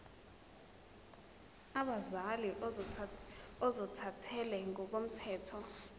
abazali ozothathele ngokomthetho